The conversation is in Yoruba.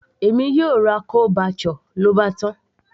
èmi yóò ra chole bhature, lóbátán